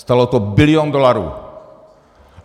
Stálo to bilion dolarů.